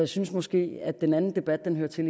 synes måske at den anden debat hører til